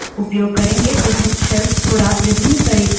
विभिन्न shells थोड़ा विभिन्न तरीकों से अनुकूलित हैं